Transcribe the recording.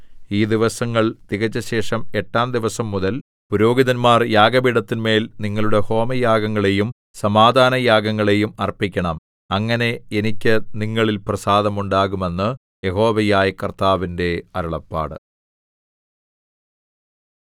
ഈ ദിവസങ്ങൾ തികച്ചശേഷം എട്ടാം ദിവസംമുതൽ പുരോഹിതന്മാർ യാഗപീഠത്തിന്മേൽ നിങ്ങളുടെ ഹോമയാഗങ്ങളെയും സമാധാനയാഗങ്ങളെയും അർപ്പിക്കണം അങ്ങനെ എനിക്ക് നിങ്ങളിൽ പ്രസാദമുണ്ടാകും എന്ന് യഹോവയായ കർത്താവിന്റെ അരുളപ്പാട്